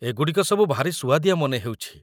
ଏଗୁଡ଼ିକ ସବୁ ଭାରି ସୁଆଦିଆ ମନେ ହେଉଛି ।